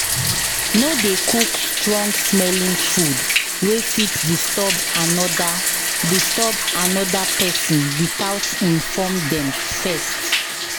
No dey cook strong-smelling food wey fit disturb another disturb another person without inform them first.